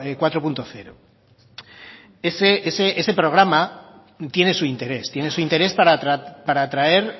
cuatro punto cero ese programa sí tiene su interés tiene su interés para atraer